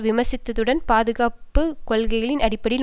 விமர்சித்ததுடன் பாதுகாப்பு கொள்கைகளின் அடிப்படையில்